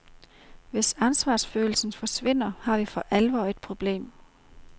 Hvis ansvarsfølelsen forsvinder, har vi for alvor problemer.